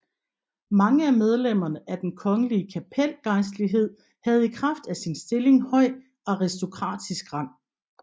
Mange af medlemmerne af den kongelige kapelgejstlighed havde i kraft af sin stilling høj aristokratisk rang